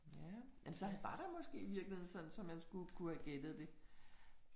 Ja, jamen så var der måske virkeligheden sådan så man skulle kunne have gættet det